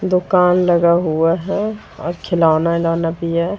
दुकन लगा हुआ है और खिलौने